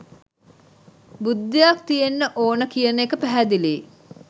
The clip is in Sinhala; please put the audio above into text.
බුද්ධියක් තියෙන්න ඕන කියන එක පැහැදිලියි.